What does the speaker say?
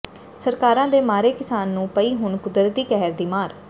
ਸਰਕਾਰਾਂ ਦੇ ਮਾਰੇ ਕਿਸਾਨ ਨੂੰ ਪਈ ਹੁਣ ਕੁਦਰਤੀ ਕਹਿਰ ਦੀ ਮਾਰ